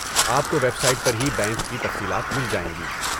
آپ کو website پر ہی بینک کی تفصیلات مل جائیں گی۔